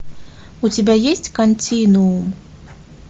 у тебя есть континуум